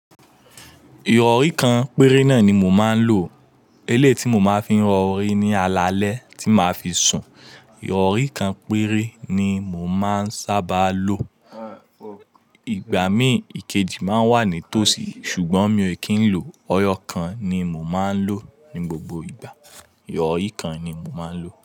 Ìrọ̀rí kan péré náà ni mò máa ń lò. Eléyìí tí mo máa fi ń rọ orí ní alalẹ́ tí màá fi sùn. Ìrọ̀rí kan péré ni mò máa ń sábà lò. Ìgbà mí ìkejì máa ń wà ní tòsí ṣùgbọ́n mi ò kí ń lò, ọyọ kan ni mò máa ń lò ní gbogbo ìgbà. Ìyọ̀rí kan ni mò máa ń lò.